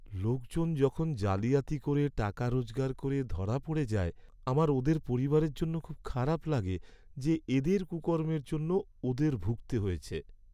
লোকজন যখন জালিয়াতি করে টাকা রোজগার করে ধরা পড়ে যায়, আমার ওদের পরিবারের জন্য খুব খারাপ লাগে, যে এদের কুকর্মের জন্য ওদের ভুগতে হয়েছে।